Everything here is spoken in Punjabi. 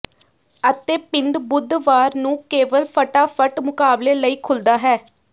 ਅਤੇ ਪਿੰਡ ਬੁੱਧਵਾਰ ਨੂੰ ਕੇਵਲ ਫਟਾਫਟ ਮੁਕਾਬਲੇ ਲਈ ਖੁੱਲ੍ਹਦਾ ਹੈ